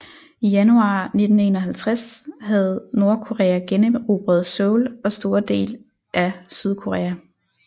I januar 1951 havde Nordkorea generobret Seoul og store dele af Sydkorea